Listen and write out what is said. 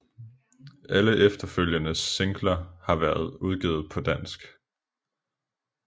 Alle efterfølgende singler har været udgivet på dansk